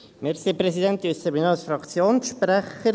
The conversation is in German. Ich äussere mich noch als Fraktionssprecher.